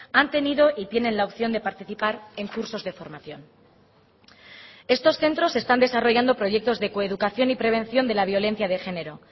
han tenido y tienen la opción de participar en cursos de formación estos centros están desarrollando proyectos de coeducación y prevención de la violencia de género